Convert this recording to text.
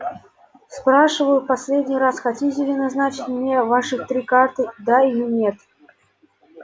спрашиваю в последний раз хотите ли назначить мне ваши три карты да или нет